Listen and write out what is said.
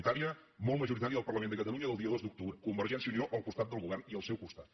unitària molt majoritària del parlament de catalunya del dia dos d’octubre convergència i unió al costat del govern i al seu costat